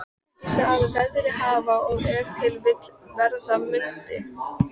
Einungis að verið hafi og ef til vill verða mundi.